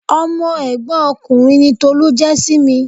Ọmọ ẹ̀gbọ́n ọkùnrin ni Tolu jẹ́ sí mi.